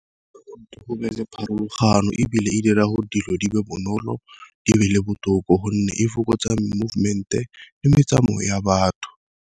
Go be le pharologano, ebile e dira gore dilo di be bonolo di be le botoka gonne e fokotsa movement-e le metsamayo ya batho.